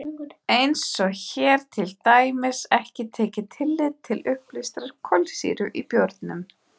Eins er hér til dæmis ekki tekið tillit til uppleystrar kolsýru í bjórnum.